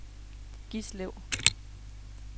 Gislev